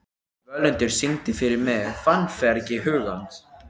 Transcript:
Völundur, syngdu fyrir mig „Fannfergi hugans“.